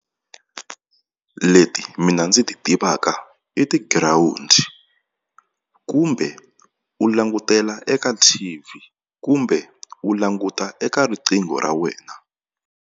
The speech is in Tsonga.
Leti mina ndzi ti tivaka i tigirawundi kumbe u langutela eka T_V kumbe u languta eka riqingho ra wena.